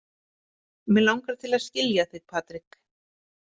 Mig langar til að skilja þig, Patrik.